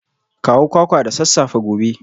Kawo kwakwa da sassafe gobe